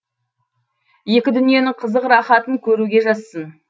екі дүниенің қызық рахатын көруге жазсын